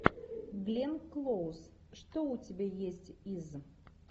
глен клоуз что у тебя есть из